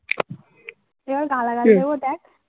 এবার গালাগালি দেব দেখ